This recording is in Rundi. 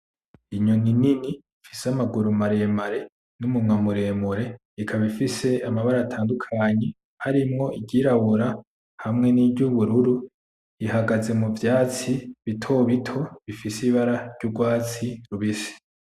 Inyoni nini ifise amaguru maremare n' umunwa muremure ikaba ifise amabara atandukanye harimwo iryirabura hamwe niry'ubururu ihagaze muvyatsi bitobito bifise ibara ryugwatsi rubisi.